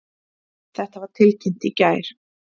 Þetta var tilkynnt í gær